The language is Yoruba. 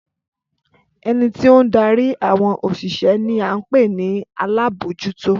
Ẹni tí ó ń darí àwọn òṣìṣẹ́ ní a ń pè ní alábòójútó